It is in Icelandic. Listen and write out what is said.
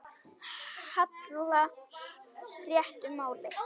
hallar réttu máli.